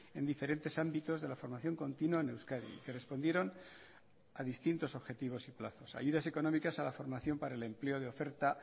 en diferentes ámbitos de la formación continua en euskadi que respondieron a distintos objetivos y plazos ayudas económicas a la formación para el empleo de oferta